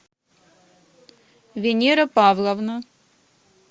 венера павловна